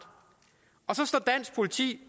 og så står dansk politi